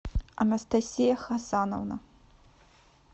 анастасия хасановна